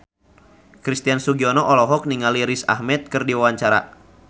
Christian Sugiono olohok ningali Riz Ahmed keur diwawancara